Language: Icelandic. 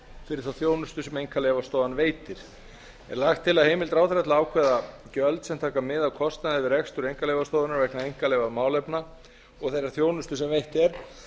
fyrir þá þjónustu sem einkaleyfastofan veitir er lagt til að heimild ráðherra til að ákveða gjöld sem taka mið af kostnaði við rekstur einkaleyfastofunnar vegna einkaleyfamálefna og þeirrar þjónustu sem veitt er